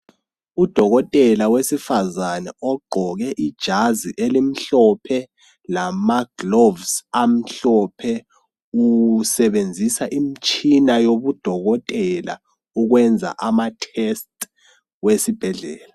Udokotela wesifazane ogqoke ijazi elimhlophe lama glovisi amhlophe usebenzisa imitshina yobu dokotela ukwenza ama tests wesibhedlela.